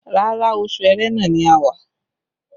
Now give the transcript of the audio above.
Rárá, oṣù Ẹrẹ́nà ni a wà